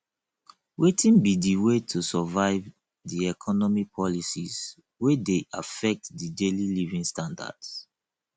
wetin be di way to survive di economic policies wey dey affect di daily living standards